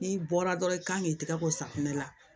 N'i bɔra dɔrɔn i kan k'i tɛgɛ ko safunɛ la